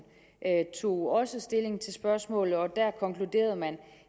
tog også stilling til spørgsmålet og der konkluderede man